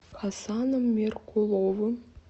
хасаном меркуловым